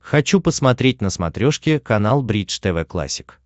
хочу посмотреть на смотрешке канал бридж тв классик